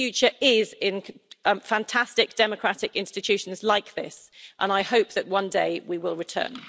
The future is in fantastic democratic institutions like this and I hope that one day we will return.